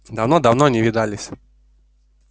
давно давно не видались